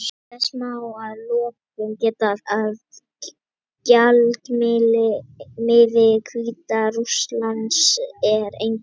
Þess má að lokum geta að gjaldmiðill Hvíta-Rússlands er einnig rúbla.